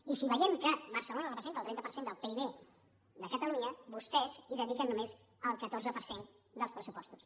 i si veiem que barcelona representa el trenta per cent del pib de catalunya vostès hi dediquen només el catorze per cent dels pressupostos